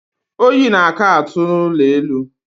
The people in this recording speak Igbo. Oyi na-aka atụ n'ụlọ elu.